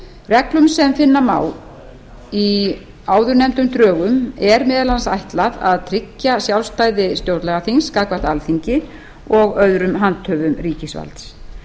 reglunum sem finna má í áðurnefndum drögum er meðal annars ætlað að tryggja sjálfstæði stjórnlagaþings gagnvart alþingi og öðrum handhöfum ríkisvalds